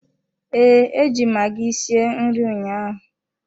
Ee, eji m magi sie nri ụnyaahụ.